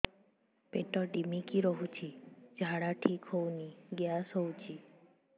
ପେଟ ଢିମିକି ରହୁଛି ଝାଡା ଠିକ୍ ହଉନି ଗ୍ୟାସ ହଉଚି